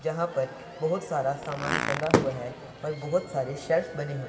जहाँ पर बहोत सारा सामान टंगा हुआ हैं और बहोत सारे शर्ट्स बने हुए--